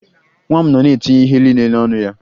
Nwa m nọ na-etinye ihe niile n'ọnụ ya